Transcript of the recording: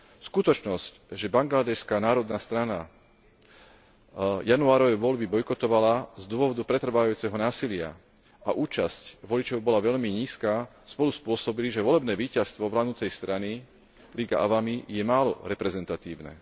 Skutočnosť, že Bangladéšska národná strana januárové voľby bojkotovala z dôvodu pretrvávajúceho násilia a účasť voličov bola veľmi nízka, spolu spôsobili, že volebné víťazstvo vládnucej strany Liga Awami je málo reprezentatívne.